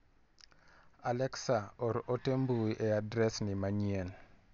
Alexa or ote mbui e adres ni manyien .